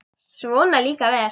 Svona líka vel!